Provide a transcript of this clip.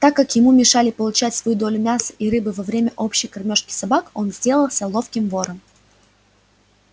так как ему мешали получать свою долю мяса и рыбы во время общей кормёжки собак он сделался ловким вором